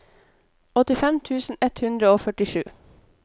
åttifem tusen ett hundre og førtisju